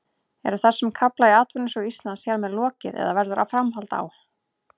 Er þessum kafla í atvinnusögu Íslands hér með lokið eða verður framhald á?